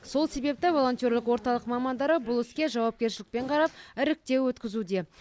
сол себепті волонтерлік орталық мамандары бұл іске жауапкершілікпен қарап іріктеу өткізуде